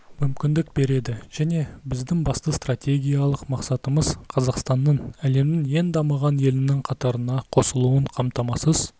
мүмкіндік береді және біздің басты стратегиялық мақсатымыз қазақстанның әлемнің ең дамыған елінің қатарына қосылуын қамтамасыз